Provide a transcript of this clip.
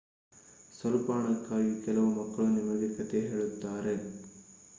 ಸ್ವಲ್ಪ ಹಣಕ್ಕಾಗಿ ಕೆಲವು ಮಕ್ಕಳು ನಿಮಗೆ ಕಥೆ ಹೇಳುತ್ತಾರೆ